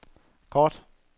kort